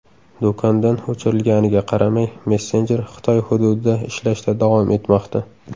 Do‘kondan o‘chirilganiga qaramay, messenjer Xitoy hududida ishlashda davom etmoqda.